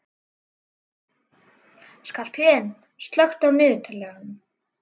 Skarphéðinn, slökktu á niðurteljaranum.